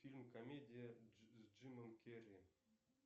фильм комедия с джимом керри